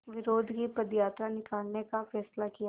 विरोध की पदयात्रा निकालने का फ़ैसला किया